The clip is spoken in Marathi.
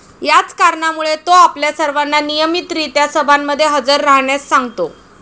याच कारणामुळे तो आपल्या सर्वांना नियमित रीत्या सभांमध्ये हजर राहण्यास सांगतो.